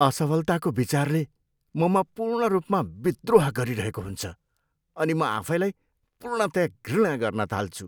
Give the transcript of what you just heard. असफलताको विचारले ममा पूर्ण रूपमा विद्रोह गरिरहेको हुन्छ अनि म आफैलाई पूर्णतया घृणा गर्न थाल्छु।